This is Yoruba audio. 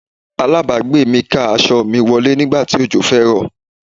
Aláàbágbé mi ká aṣọ mi wọlé nígbà tí òjò fẹ́ rọ̀.